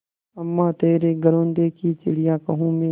अम्मा तेरे घरौंदे की चिड़िया हूँ मैं